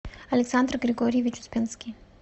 александр григорьевич успенский